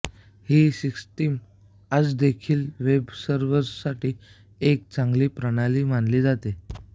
ही system आजदेखील वेबसर्व्हरसाठी एक चांगली प्रणाली मानली जाते